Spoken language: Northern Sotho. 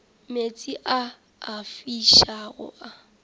meetse a a fišago a